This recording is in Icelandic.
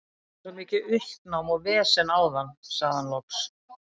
Það var svo mikið uppnám og vesen áðan, sagði hann loks.